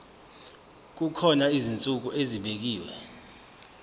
kukhona izinsuku ezibekiwe